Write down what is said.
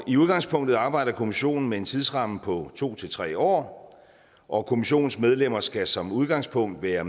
i udgangspunktet arbejder kommissionen med en tidsramme på to tre år og kommissionens medlemmer skal som udgangspunkt være